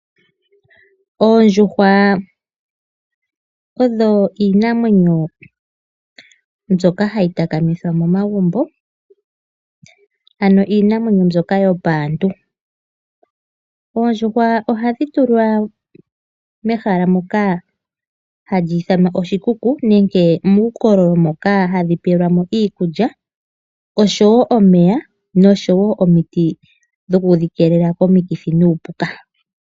Oondjuhwa odho iinamwenyo mbyoka hayi takamithwa momagumbo, ano iinamwenyo yopaantu. Oondjuhwa ohadhi tulwa mehala moka hali ithanwa oshikuku nenge muukololo moka hadhi pelwa mo iikulya, omeya oshowo omiti dhokuyi keelela komikithi nuupuka.